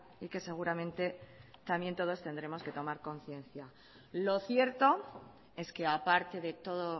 y que seguramente también todos tendremos que tomar conciencia lo cierto es que aparte de todo